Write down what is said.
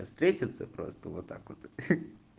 а встретиться просто вот так вот хи